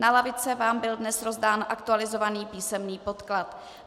Na lavice vám byl dnes rozdán aktualizovaný písemný podklad.